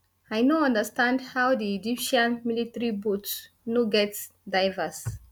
i no understand how di egyptian military boats no get divers